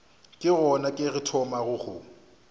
ke gona ke thomago go